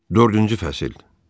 Dördüncü fəsil.